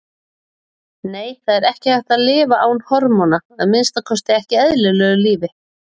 Nei, það er ekki hægt að lifa án hormóna, að minnsta kosti ekki eðlilegu lífi.